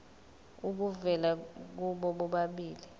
obuvela kubo bobabili